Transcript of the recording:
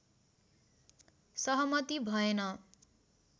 सहमती भएन